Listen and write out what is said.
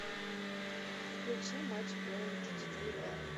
включи матч поинт четыре ка